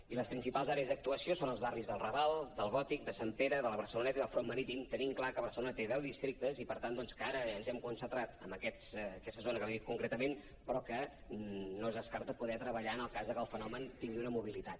i les principals àrees d’actuació són els barris del raval del gòtic de sant pere de la barceloneta i del front marítim tenint clar que barcelona té deu districtes i per tant doncs que ara ens hem concentrat en aquesta zona que li he dit concretament però que no es descarta poder treballar en el cas que el fenomen tingui una mobilitat